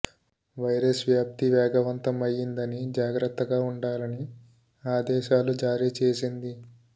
virus వ్యాప్తి వేగవంతం అయ్యిందని జాగ్రత్తగా ఉండాలని ఆదేశాలు జారీ చేసింది